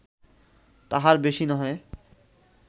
-তাহার বেশি নহে